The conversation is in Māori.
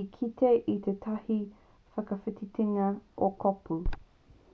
i kite i tētahi whakawhitinga o kōpū